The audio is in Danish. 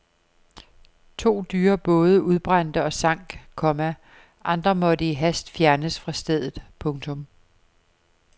To dyre både udbrændte og sank, komma andre måtte i hast fjernes fra stedet. punktum